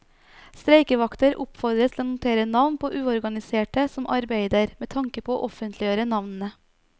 Streikevakter oppfordres til å notere navn på uorganiserte som arbeider, med tanke på å offentliggjøre navnene.